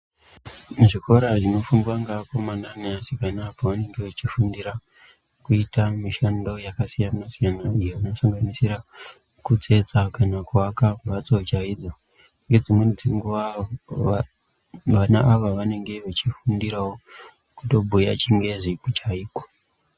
Mu zvikora zvino fundwa nge akomana ne asikana pavanenge vechi fundira kuita mishando yaka siyana siyana iyo ino sanganisira kutsetsa kana ku aka mbatso chaidzo ne dzimweni dzenguva vana ava vanenge vechi fundirawo kutobhuya chingezi chaiko.